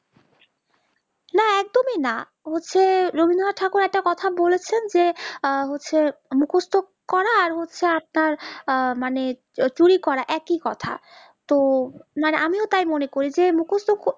না একদমই না হচ্ছে রবীন্দ্রনাথ ঠাকুর একটা কথা বলেছেন যে আহ হচ্ছে মুকস্ত করা আর হচ্ছে আপনার আহ মানে চুরি করা একই কথা তো আমিও তাই মনে করি যে মুকস্ত ক